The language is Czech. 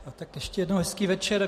Tak ještě jednou hezký večer.